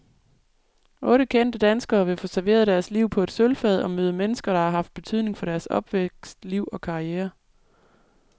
Otte kendte danskere vil få serveret deres liv på et sølvfad og møde mennesker, der har haft betydning for deres opvækst, liv og karriere.